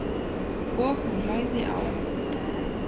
Og hún lagði á.